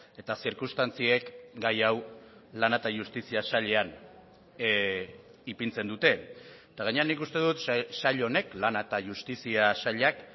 eta zirkunstantziek gai hau lana eta justizia sailean ipintzen dute eta gainera nik uste dut sail honek lana eta justizia sailak